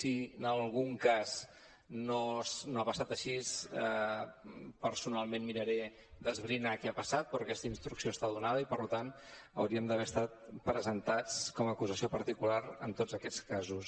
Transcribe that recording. si en algun cas no ha passat així personalment miraré d’esbrinar què ha passat però aquesta instrucció està donada i per tant hauríem d’haver estat presentats com a acusació particular en tots aquests casos